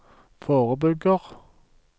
forebygger